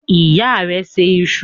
Ìyá rẹ se iṣu?